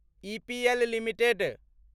EPL limited